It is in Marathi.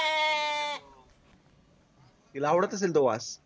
तिला आवडत असेल तो वास